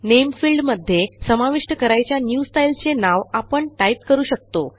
Nameफिल्डमध्ये समाविष्ट करायच्या new style चे नाव आपण टाईप करू शकतो